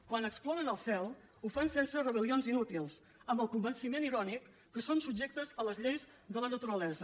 quan exploren el cel ho fan sense rebel·lions inútils amb el convenciment irònic que són subjectes a les lleis de la naturalesa